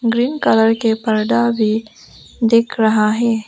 Green colour के पर्दा भी दिख रहा है।